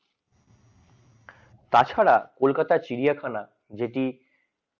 তাছাড়া কলকাতা চিড়িয়াখানা যেটি